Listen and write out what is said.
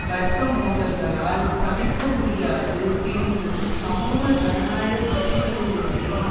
வர்க்க மோதல்களால் தவிர்க்கமுடியாது பிரிந்தும் சமூக ஜனநாயக கட்சியிலிருந்தும்